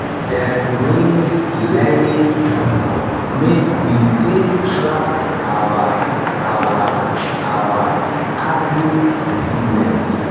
dem bring learning book make we take track our our our agric business